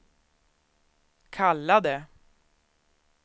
kallade